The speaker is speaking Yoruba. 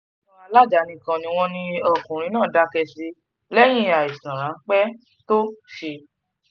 iléewòsàn aládàáni um kan ni wọ́n ní ọkùnrin náà dákẹ́ sí lẹ́yìn àìsàn ráńpẹ́ tó um ṣe é